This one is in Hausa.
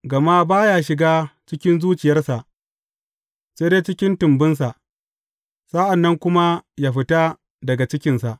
Gama ba ya shiga cikin zuciyarsa, sai dai cikin tumbinsa, sa’an nan kuma yă fita daga jikinsa.